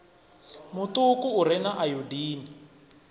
muṱuku u re na ayodini